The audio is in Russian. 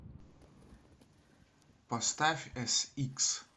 поставь эсикс